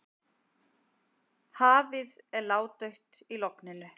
Hafið er ládautt í logninu.